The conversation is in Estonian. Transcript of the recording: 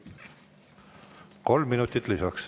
Kolm minutit lisaks.